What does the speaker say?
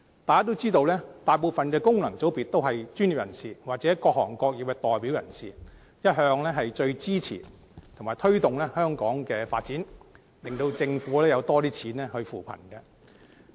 大家也知道，大部分功能界別的議員是專業人士或各行各業的代表，一向最支持和推動香港的發展，令政府有較多資源來扶貧。